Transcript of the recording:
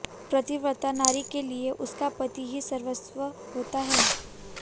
पतिव्रता नारी के लिए उसका पति ही सर्वस्व होता है